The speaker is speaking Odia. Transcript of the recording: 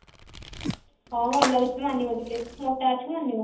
ହଁ ଭଲ ହେଇଛି ମାନିବ ତତେ ମୋଟା ଅଛୁ ମାନିବ